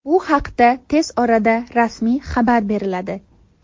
Bu haqda tez orada rasmiy xabar beriladi.